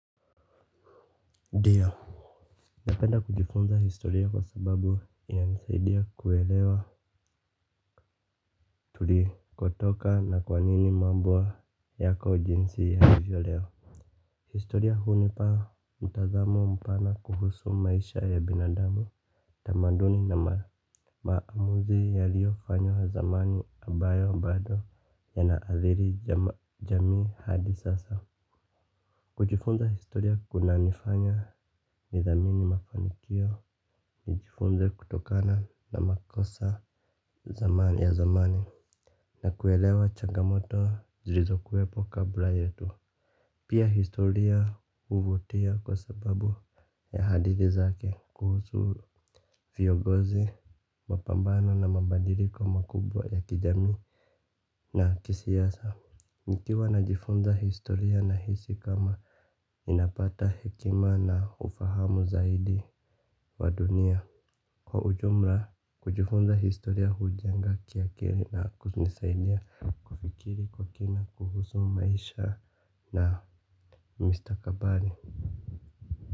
Dio, napenda kujifunza historia kwa sababu inanisaidia kuelewa tulikotoka na kwa nini mambo yako jinsi yalivyo leo. Historia hunipa mtazamo mpana kuhusu maisha ya binadamu. Tamaduni na maamuzi yaliyofanywa zamani ambayo bado yanaadhiri jamii hadi sasa. Kujifunza historia kunanifanya nidhamini mafanikio, nijifunze kutokana na makosa ya zamani na kuelewa chagamoto zlizokuewepo kabla yetu. Pia historia huvutia kwa sababu ya hadithi zake kuhusu viongozi, mapambano na mabadiliko makubwa ya kijamii na kisiasa. Nikiwa najifunza historia nahisi ni kama ninapata hekima na ufahamu zaidi wa dunia. Kwa ujumla kujifunza historia hujenga kiakili na kunisaidia kufikiri kwa kina kuhusu maisha na mustakabali.